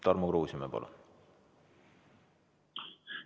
Tarmo Kruusimäe, palun!